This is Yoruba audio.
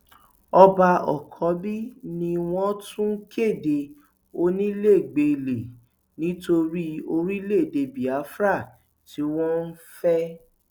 ọba àkànbí ni wọn tún kéde onílégbélé nítorí orílẹèdè biafra tí wọn ń fẹ